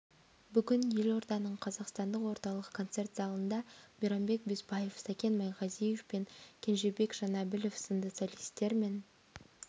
бүгін елорданың қазақстан орталық концерт залында мейрамбек беспаев сәкен майғазиев пен кенжебек жанәбілов сынды солистер мен